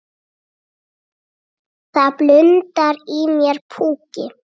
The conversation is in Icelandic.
Það blundar í mér púki.